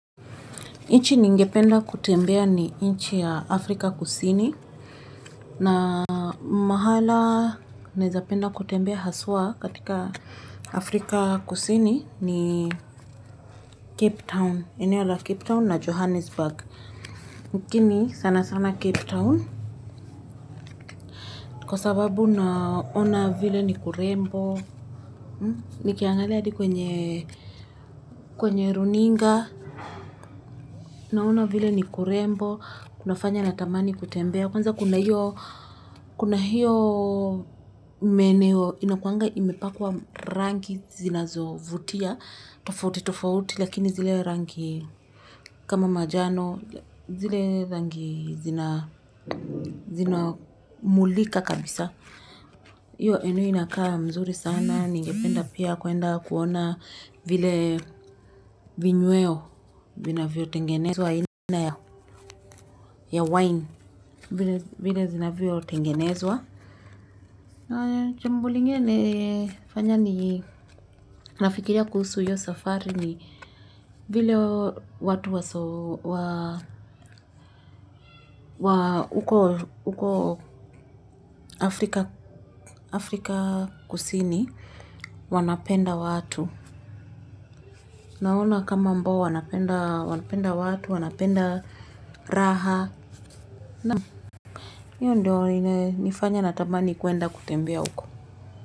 Nchi ningependa kutembea ni nchi ya afrika kusini na mahala naweza penda kutembea haswa katika afrika kusini ni cape town eneo la cape town na johannesburg lakini sana sana cape town kwa sababu naona vile ni kurembo nikiangalia hadi kwenye kwenye runinga naona vile ni kurembo kunafanya natamani kutembea kwanza kuna hiyo kuna hiyo maeneo inakuanga imepakwa rangi zinazovutia tofauti tofauti lakini zile rangi kama manjano zile rangi zinamulika kabisa hiyo eneo inakaa mzuri sana ningependa pia kwenda kuona vile vinyweo vinavyotengenezwa ya wine vile zinavyotengenezwa na jambo lingine ni fanya ninafikiria kuhusu hiyo safari ni vile watu wa huko Afrika Kusini wanapenda watu naona kama ambao wanapenda watu wanapenda raha na hiyo ndiyo inanifanya natamani kwenda kutembea huko.